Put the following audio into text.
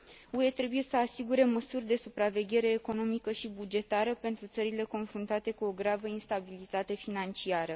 UE trebuie să asigure măsuri de supraveghere economică și bugetară pentru țările confruntate cu o gravă instabilitate financiară.